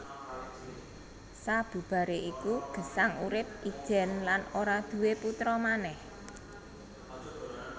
Sabubaré iku Gesang urip ijèn lan ora duwé putra manèh